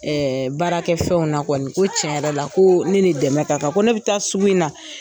baarakɛ fɛnw na kɔni ko tiɲɛn yɛrɛ la ko ne ni dɛmɛ ka kan ko ne bɛ taa sugu in na.